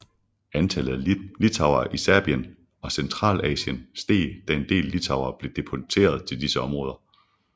Antallet af litauere i Sibirien og Centralasien steg da en del litauere blev deporteret til disse områder